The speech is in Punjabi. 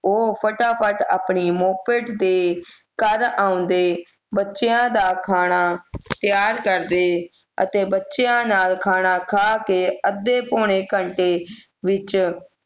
ਉਹ ਫਟਾਫਟ ਆਪਣੀ moped ਤੇ ਘਰ ਢਾਉਂਦੇ ਬਚਦਿਆਂ ਦਾ ਖਾਣਾ ਤਿਆਰ ਕਰਦੇ ਅਤੇ ਬੱਚਿਆਂ ਨਾਲ ਖਾਣਾ ਖਾ ਕੇ ਅੱਧੇ ਪੌਣੇ ਘੰਟੇ ਵਿਚ